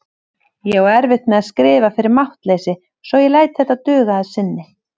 Ég á erfitt með að skrifa fyrir máttleysi svo ég læt þetta duga að sinni.